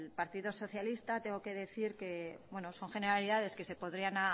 partido socialista tengo que decir que bueno son generalidades que se podrían